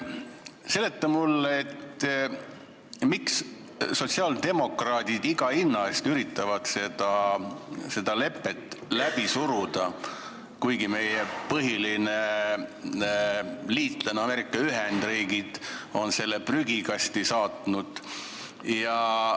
Seleta mulle, miks sotsiaaldemokraadid iga hinna eest üritavad seda lepet läbi suruda, kuigi meie põhiline liitlane Ameerika Ühendriigid on selle prügikasti saatnud.